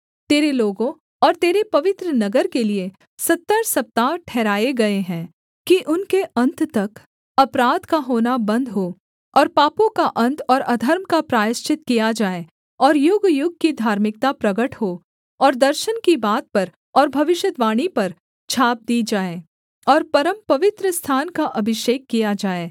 तेरे लोगों और तेरे पवित्र नगर के लिये सत्तर सप्ताह ठहराए गए हैं कि उनके अन्त तक अपराध का होना बन्द हो और पापों का अन्त और अधर्म का प्रायश्चित किया जाए और युगयुग की धार्मिकता प्रगट हो और दर्शन की बात पर और भविष्यद्वाणी पर छाप दी जाए और परमपवित्र स्थान का अभिषेक किया जाए